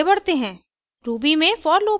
आगे बढ़ते हैं